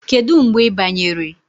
Kedu mgbe ị banyere?